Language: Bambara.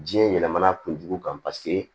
Jiɲɛ yɛlɛmana kunjugu kan paseke